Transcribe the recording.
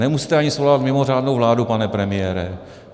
Nemusíte ani svolávat mimořádnou vládu, pane premiére.